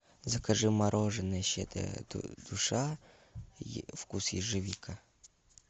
закажи мороженое щедрая душа вкус ежевика